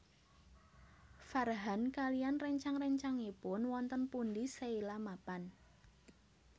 Farhan kaliyan réncang réncangipun wonten pundi Sheila mapan